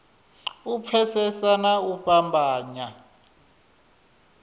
u pfesesa na u fhambanya